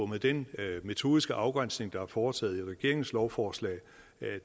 med den metodiske afgrænsning der er foretaget i regeringens lovforslag